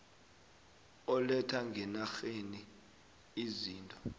oletha ngenarheni izinto